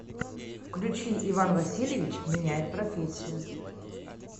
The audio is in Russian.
включи иван васильевич меняет профессию